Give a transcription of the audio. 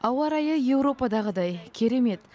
ауа райы еуропадағыдай керемет